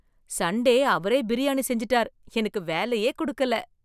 Sunday அவரே பிரியாணி செஞ்சுட்டார் எனக்கு வேலையே கொடுக்கல!